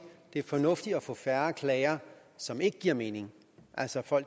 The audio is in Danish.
det er fornuftigt at få færre klager som ikke giver mening altså fra